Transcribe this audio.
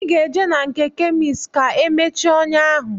Ị ga-eje na nke kemist ka e mechie ọnyá ahụ